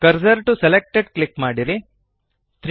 cursor to selected click ಮಾಡಿರಿ